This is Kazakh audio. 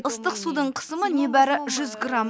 ыстық судың қысымы небәрі жүз грамм